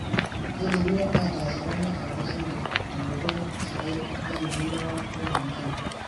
Keidimi atas eramatare oo singir tenkoitoi sidai naninguno womanyara.